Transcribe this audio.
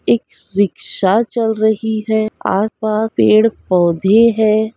एक रिक्शा चल रही है आस-पास पड़े पौधे है ।